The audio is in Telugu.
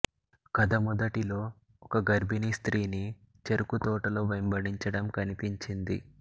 కథ మొదటిలో ఒక గర్భిణీ స్త్రీని చెరకుతోటలో వెంబడించడం కనిపించింది